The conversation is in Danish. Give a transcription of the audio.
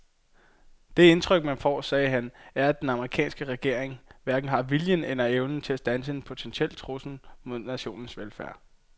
Det indtryk man får, sagde han, er at den amerikanske regering hverken har viljen eller evnen til at standse en potentiel trussel mod nationens velfærd.